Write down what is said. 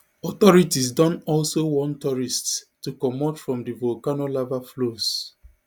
authorities don also warn tourists to comot from di volcano lava flows